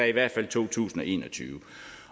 i hvert fald to tusind og en og tyve